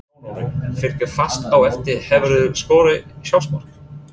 Jón Orri fylgir fast á eftir Hefurðu skorað sjálfsmark?